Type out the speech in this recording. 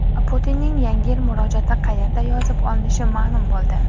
Putinning Yangi yil murojaati qayerda yozib olinishi ma’lum bo‘ldi.